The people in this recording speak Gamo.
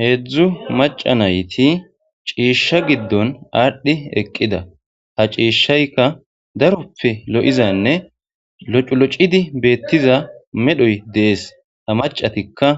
Heedzdzu maca nayti ciishsha giddon aadhdhi eqqida ha ciishayka daroppe lo'izanne loculocidi beettiza medhoy dees ta macatikka